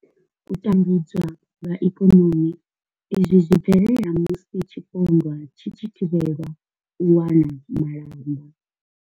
U tambudzwa lwa ikonomi izwi zwi bvelela musi tshipondwa tshi tshi thivhelwa u wana malamba.